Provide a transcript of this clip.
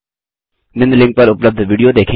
निम्न लिंक पर उपलब्ध विडियो देखें